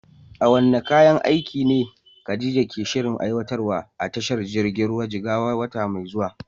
Waɗanne kayan aiki ne Khadija ke shirin aiwatarwa a tashar jirgin ruwan Jigawa a wata mai zuwa?